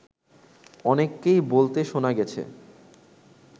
অনেককেই বলতে শোনা গেছে